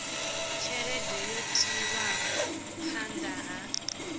tshelede yo tiwaho phanda ha